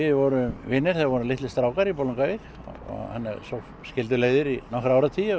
vorum vinir þegar við vorum litlir strákar í Bolungarvík svo skildu leiðir í nokkra áratugi og